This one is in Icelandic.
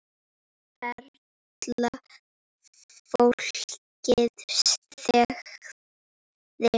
Perla Fólkið þagði.